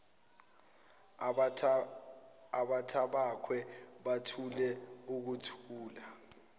abantabakhe bathule ukuthula